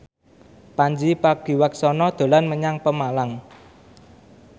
Pandji Pragiwaksono dolan menyang Pemalang